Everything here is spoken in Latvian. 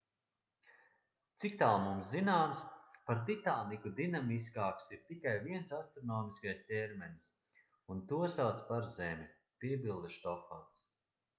ciktāl mums zināms par titānu dinamiskāks ir tikai viens astronomiskais ķermenis un to sauc par zemi piebilda štofans